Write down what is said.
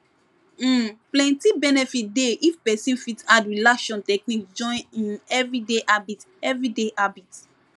um plenty benefit dey if person fit add relaxation technique join im everyday habit everyday habit